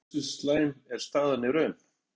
En hversu slæm er staðan í raun?